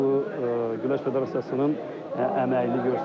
Bu Güləş Federasiyasının əməyini göstərir.